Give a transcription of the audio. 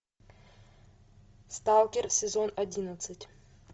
сталкер сезон одиннадцать